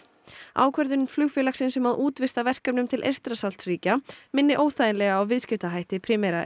ákvörðun flugfélagsins um að útvista verkefnum til Eystrasaltsríkja minni óþægilega á viðskiptahætti Primera